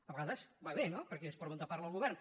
a vegades va bé no perquè és per on parla el govern